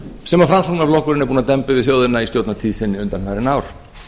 sem framsóknarflokkurinn er búinn að demba yfir þjóðina í stjórnartíð sinni undanfarin ár